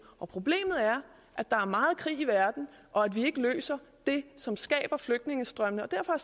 problemet er at der er meget krig i verden og at vi ikke løser det som skaber flygtningestrømmene derfor